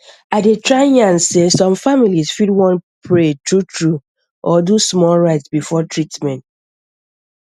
i dey try yarn sey some families fit wan pray truetrue or do small rite before treatment